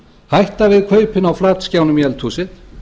hætta við kaupin á flatskjánum í eldhúsið